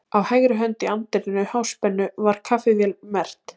Á hægri hönd í anddyri Háspennu var kaffivél merkt